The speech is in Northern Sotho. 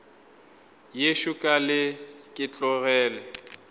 yešo ka leke ke tloge